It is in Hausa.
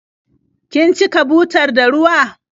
Kin cika butar da ruwa?